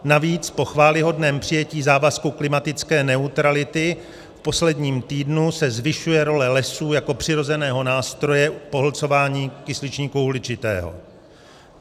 Navíc po chvályhodném přijetí závazku klimatické neutrality v posledním týdnu se zvyšuje role lesů jako přirozeného nástroje v pohlcování kysličníku uhličitého.